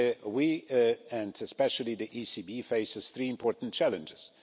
We, and especially the ECB, face three important challenges.